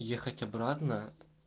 ехать обратно